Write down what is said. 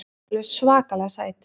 Alveg svakalega sæt.